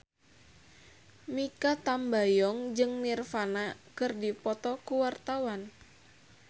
Mikha Tambayong jeung Nirvana keur dipoto ku wartawan